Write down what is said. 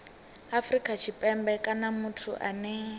afrika tshipembe kana muthu ane